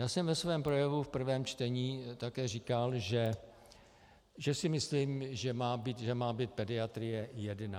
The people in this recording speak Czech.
Já jsem ve svém projevu v prvém čtení také říkal, že si myslím, že má být pediatrie jedna.